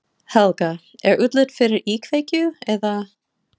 Helga: Er útlit fyrir íkveikju eða?